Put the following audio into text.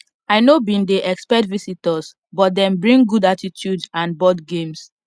i no bin dey expect visitors but them bring good attitude and board games